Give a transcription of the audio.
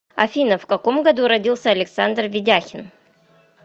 афина в каком году родился александр ведяхин